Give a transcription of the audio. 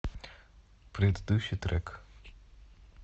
предыдущий трек